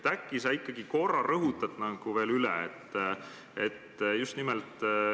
Ehk sa rõhutad selle ikkagi veel korra üle.